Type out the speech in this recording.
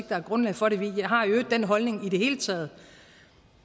der er grundlag for det vi har i øvrigt den holdning i det hele taget